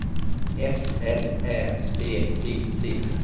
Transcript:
S L Ä P P T